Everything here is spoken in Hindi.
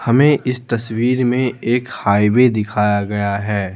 हमें इस तस्वीर में एक हाईवे दिखाया गया है।